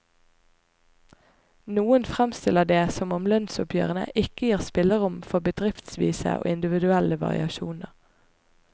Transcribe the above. Noen fremstiller det som om lønnsoppgjørene ikke gir spillerom for bedriftsvise og individuelle variasjoner.